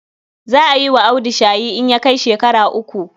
Za a yi wa Audu shayi in ya kai shekara uku.